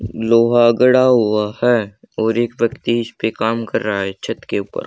लोहा गडा हुआ है और एक व्यक्ति इस पे काम कर रहा है छत के ऊपर--